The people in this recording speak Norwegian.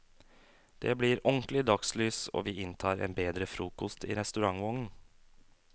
Det blir ordentlig dagslys, og vi inntar en bedre frokost i restaurantvognen.